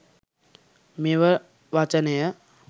මෙම වචනය